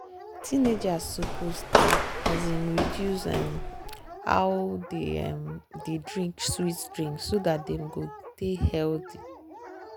teenagers suppose to dey um reduce um how dem um dey drink sweet drink so dat dem go dey healthy.